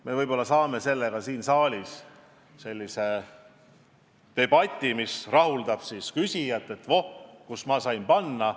Me võib-olla saavutame sellega siin saalis debati, mis rahuldab küsijat – voh, kus ma alles sain panna!